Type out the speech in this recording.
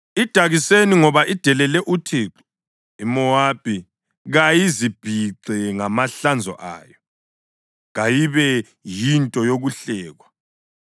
“Idakiseni ngoba idelele uThixo. IMowabi kayizibhixe ngamahlanzo ayo; kayibe yinto yokuhlekwa.